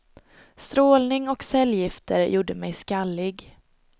Strålning och cellgifter gjorde mig skallig.